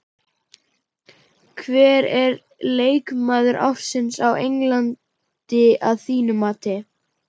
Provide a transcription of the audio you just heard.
Hver er leikmaður ársins á Englandi að þínu mati?